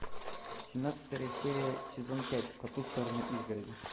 семнадцатая серия сезон пять по ту сторону изгороди